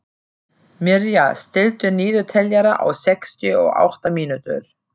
Mirja, stilltu niðurteljara á sextíu og átta mínútur.